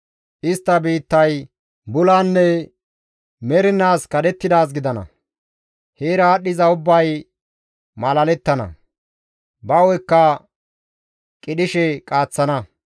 Istta biittay bulanne mernaas kadhettidaaz gidana; heera aadhdhiza ubbay malalettana; ba hu7ekka qidhishe qaaththana.